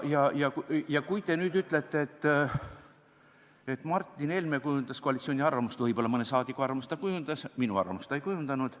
Ja kui te nüüd ütlete, et Martin Helme kujundas koalitsiooni arvamust, siis võib-olla mõne rahvasaadiku arvamust ta kujundas, minu arvamust ta ei kujundanud.